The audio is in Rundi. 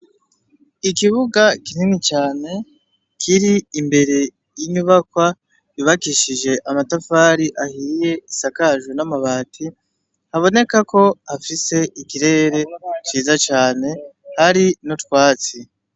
Ikibuga kintimi cane kiri imbere y'inyubakwa yubakishije amatafari ahiriye isakaju n'amabati haboneka ko hafise ikirere tiza cane hari no twatsi.